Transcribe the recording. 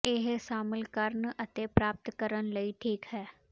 ਇਹ ਸ਼ਾਮਲ ਕਰਨ ਅਤੇ ਪ੍ਰਾਪਤ ਕਰਨ ਲਈ ਠੀਕ ਹੈ